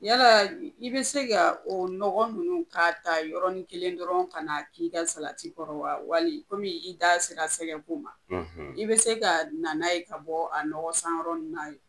Yala i be se ka o nɔgɔ nunnu ka ta yɔrɔrɔnin kelen dɔrɔn ka na k'i ka salati kɔrɔ wa wali komi i da sera sɛgɛgɛkun ma i bɛ se ka nan ye ka bɔ a nɔgɔ sanyɔrɔ ni ye